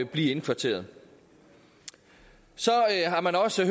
blive indkvarteret så har man også